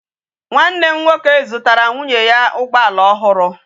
Nwa nne m nwoke zutara nwunye ya ugboala ohuru